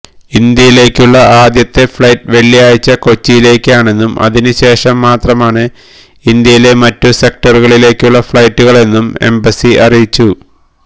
ഇന്ത്യയിലേക്കുള്ള ആദ്യത്തെ ഫ്ളൈറ്റ് വെള്ളിയാഴ്ച കൊച്ചിയിലേക്കാണെന്നും അതിനുശേഷം മാത്രമാണ് ഇന്ത്യയിലെ മറ്റു സെക്ടറുകളിലേക്കുള്ള ഫളൈറ്റുകളെന്നും എംബസി അറിയിച്ചു